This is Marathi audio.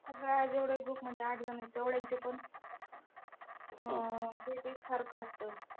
जेवढे group मध्ये आठजण आहेत तेवढ्यांचे पण अं weight एकसारखं असतं.